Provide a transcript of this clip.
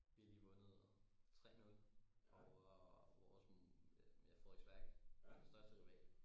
Vi har lige vundet 3-0 over vores ja Frederiksværk vores største rival